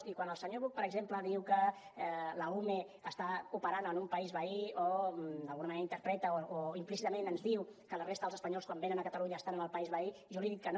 i quan el senyor buch per exemple diu que la ume està operant en un país veí o d’alguna manera interpreta o implícitament ens diu que la resta dels espanyols quan venen a catalunya estan en el país veí jo li dic que no